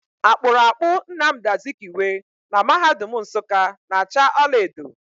Akpụrụakpụ Namdị Azikiwe na mahadum Nsukka na acha ọlaedo.